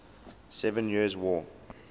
seven years war